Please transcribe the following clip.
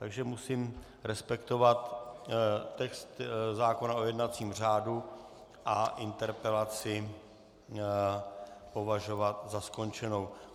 Takže musím respektovat text zákona o jednacím řádu a interpelaci považovat za skončenou.